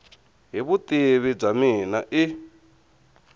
hi vutivi bya mina i